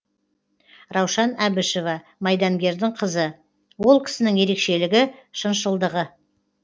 раушан әбішева майдангердің қызы ол кісінің ерекшелігі шыншылдығы